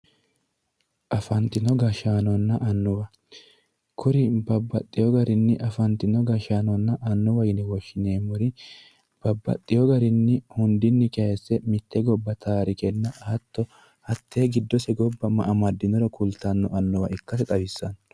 Afantino gashshaanonna annuwa, kuri babbaxxewo garinni afantino gashshaanonna annuwa yine woshshineemmori babbaxxewo garinni hundinni kayiise mitte gobba taarikenna hatto hattee giddose gobba ma amaddinoro kultanno annuwa ikkase xawissanno.